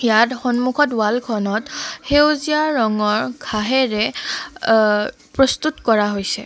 ইয়াত সন্মুখত ৱাল খনত সেউজীয়া ৰঙৰ ঘাঁহেৰে অ প্ৰস্তুত কৰা হৈছে।